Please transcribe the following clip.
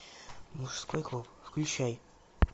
мужской клуб включай